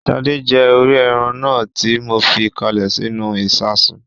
Sadé jẹ orí ẹran náà tí mo fi káalè sínú ìsasùn